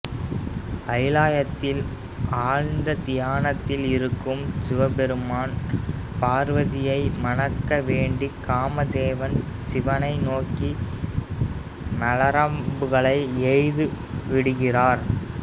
கைலாயத்தில் ஆழ்ந்த தியானத்தில் இருக்கும் சிவபெருமான் பார்வதியை மணக்க வேண்டி காம தேவன் சிவனை நோக்கி மலரம்புகளை எய்து விடுகிறார்